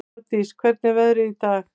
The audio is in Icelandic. Hafdís, hvernig er veðrið í dag?